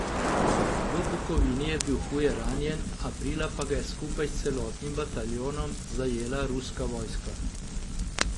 V Bukovini je bil huje ranjen, aprila pa ga je skupaj s celotnim bataljonom zajela ruska vojska.